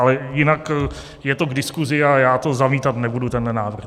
Ale jinak je to k diskusi a já to zamítat nebudu, tenhle návrh.